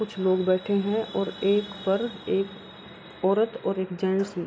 कुछ लोग बैठे हैं और एक पर एक औरत और एक जेन्ट्स --